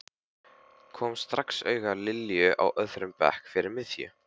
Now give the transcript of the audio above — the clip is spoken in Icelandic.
Kom strax auga á Lilju á öðrum bekk fyrir miðju.